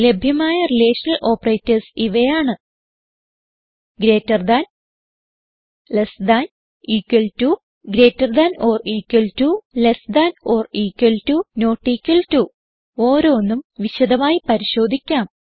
ലഭ്യമായ relational operators ഇവയാണ് greater than less than 000113 000013 equal to greater than or equal to less than or equal to not equal to ഓരോന്നും വിശദമായി പരിശോധിക്കാം